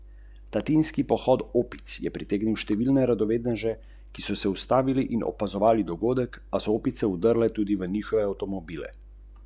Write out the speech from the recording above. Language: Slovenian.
Čeprav Anže v Sočiju igra sanjski hokej, ga oče v pohvalah v pogovorih z mediji ne izpostavlja.